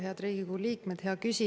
Head Riigikogu liikmed!